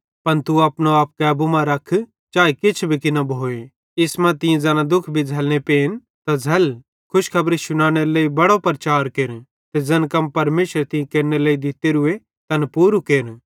पन तू अपनो आप कैबू मां रख चाए किछ भी की न भोए इस मां तीं ज़ैना भी दुःख भी झ़ैल्लने पेन त झ़ल खुशखबरी शुनानेरे लेइ बड़ी प्रचार केर ते ज़ैन कम परमेशरे तीं केरनेरे लेइ दितोरू तैन पूरे केर